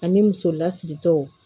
Ani muso lasiritaw